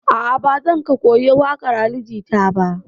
A'a, ba zan ka koyi waƙar Ali Jita ba.